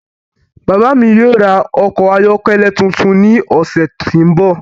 Bàbá mi yóò ra ọkọ̀ ayọ́kẹ́lẹ́ tuntun ní ọ̀sẹ̀ tí ń bọ̀.